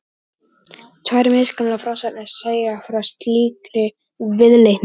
Tvær misgamlar frásagnir segja frá slíkri viðleitni.